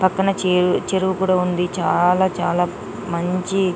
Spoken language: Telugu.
పక్కన చెరువు కూడా ఉంది చాలా చాలా మంచి --